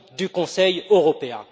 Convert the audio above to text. du Conseil européen.